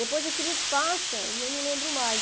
Depois aquilo passa e eu não lembro mais.